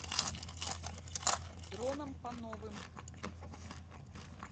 дроном пановым